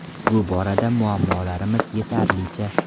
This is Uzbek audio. Bu borada muammolarimiz yetarlicha.